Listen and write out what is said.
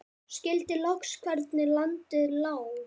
Skildi loks hvernig landið lá.